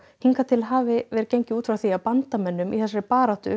hingað til hafi verið gengið út frá því að bandamönnum í baráttunni